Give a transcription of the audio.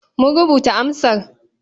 Mun rubuta amsar.